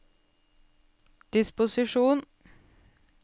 disposisjon